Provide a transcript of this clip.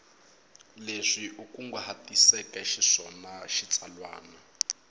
leswi u kunguhatiseke xiswona xitsalwana